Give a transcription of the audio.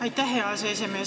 Aitäh, hea aseesimees!